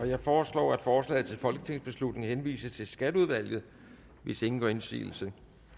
jeg foreslår at forslaget til folketingsbeslutning henvises til skatteudvalget hvis ingen gør indsigelse